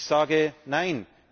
Ich sage Nein!